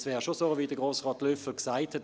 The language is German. Es wäre so, wie es Grossrat Löffel gesagt hat: